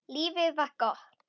Lífið var gott.